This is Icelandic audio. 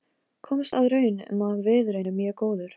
Komst að raun um að viðurinn er mjög góður.